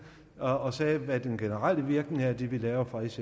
og sagde hvad den generelle virkning er af det vi laver fra s